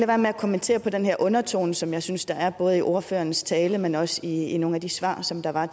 være med at kommentere på den her undertone som jeg synes der er både i ordførerens tale men også i i nogle af de svar som der var